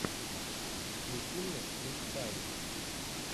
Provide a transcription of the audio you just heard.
включи мне крис пайн